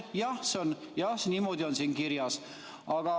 Jah, see on niimoodi siin kirjas.